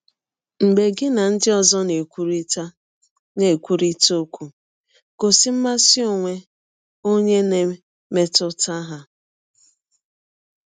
Mgbe gị na ndị ọzọ na - ekwụrịta na - ekwụrịta ọkwụ, gọsi mmasị ọnwe ọnye ná mmetụta ha.